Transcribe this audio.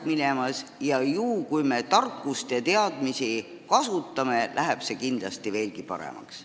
Juhul kui me kasutame oma tarkust ja teadmisi, läheb see kindlasti veelgi paremaks.